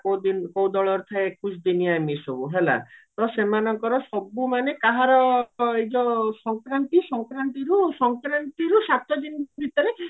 କୋଉ ଦିନ କୋଉ ଦଳର ଥାଏ ଏକଉଶୀ ଦିନିଆ ଏମିତି ସବୁ ତ ସେମାନଙ୍କର ସବୁ ମାନେ କାହାର ଏଯୋଉ ସଙ୍କରାନ୍ତି ସଙ୍କରାନ୍ତିରୁ ସଙ୍କରାନ୍ତିରୁ ସାତ ଦିନ ଭିତରେ